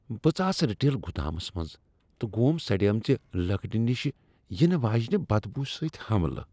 بہٕ ژاس رِٹیل گودامس منز تہٕ گوم سڑیمژِہ لکڑِ نش یینہٕ واجنِہ بدبو سۭتۍ حملہٕ ۔